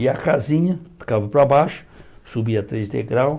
E a casinha ficava para baixo, subia três degraus,